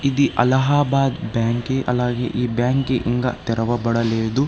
ఇది అలహాబాద్ బ్యాంకి అలాగే ఈ బ్యాంకి ఇంకా తెరవబడలేదు.